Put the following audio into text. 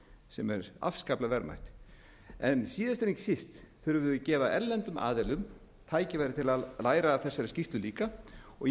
sem er afskaplega verðmætt en líða en ekki síst þurfum við að gefa erlendum aðilum tækifæri til að læra af þessari skýrslu líka og ég